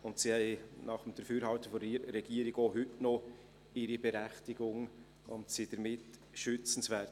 Sie haben, nach dem Dafürhalten der Regierung, auch heute noch ihre Berechtigung und sind damit schützenswert.